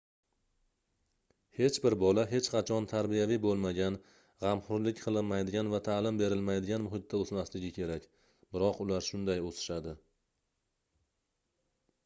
hech bir bola hech qachon tarbiyaviy boʻlmagan gʻamxoʻrlik qilinmaydigan va taʼlim berilmaydigan muhitda oʻsmaligi kerak biroq ular shunday oʻsishadi